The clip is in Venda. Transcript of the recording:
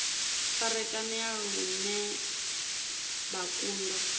farakanea lune vha kundwa u